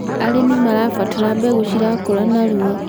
arĩmi marabatara mbegũ cirakũra narua